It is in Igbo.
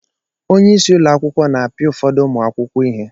Onyeisi ụlọ akwụkwọ na-apia ụfọdụ ụmụ akwụkwọ ihe.